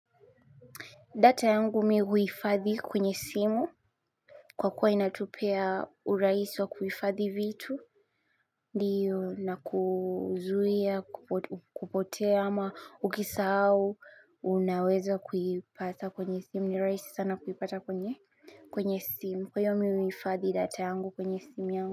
Data yangu mimi huhifadhi kwenye simu. Kwa kuwa inatupea urahisi wa kuhifadhi vitu. Ndiyo na kuzuia, kupotea ama ukisahau, unaweza kuipata kwenye simu. Ni rahisi sana kuipata kwenye kwenye simu. Kwa hivyo mimi huhifadhi data yangu kwenye simu yangu.